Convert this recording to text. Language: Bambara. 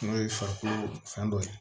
N'o ye farikolo fɛn dɔ ye